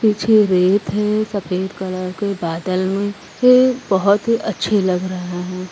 पीछे रेत है। सफेद कलर के बादल में फिर बहुत ही अच्छी लग रहे है|